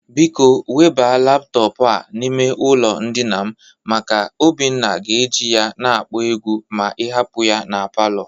Biko weba laptọpụ a n'ime ụlọ ndịna m maka Obinna ga-eje ya na-akpọ egwu ma ị hapụ ya na palọ.